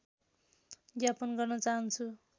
ज्ञापन गर्न चाहन्छु